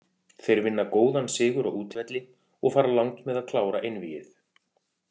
Þeir vinna góðan sigur á útivelli og fara langt með að klára einvígið.